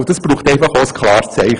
Dazu braucht es ein klares Zeichen.